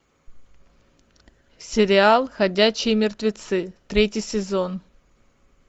сериал ходячие мертвецы третий сезон